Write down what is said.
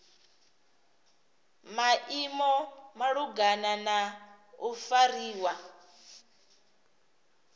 maimo malugana na u fariwa